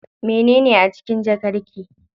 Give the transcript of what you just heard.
Mene a cikin jakar ki?